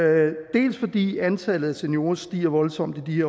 dels fordi antallet af seniorer stiger voldsomt i de